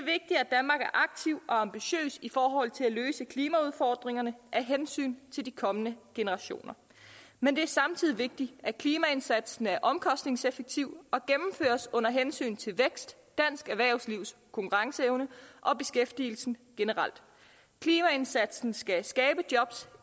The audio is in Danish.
aktiv og ambitiøs i forhold til at løse klimaudfordringerne af hensyn til kommende generationer men det er samtidig vigtigt at klimaindsatsen er omkostningseffektiv og gennemføres under hensyn til vækst dansk erhvervslivs konkurrenceevne og beskæftigelsen generelt klimaindsatsen skal skabe jobs